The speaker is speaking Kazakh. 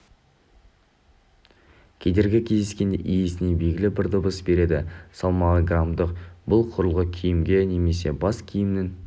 кедергі кездескенде иесіне белгілі бір дыбыс береді салмағы граммдық бұл құрылғы киімге немесе бас киімнің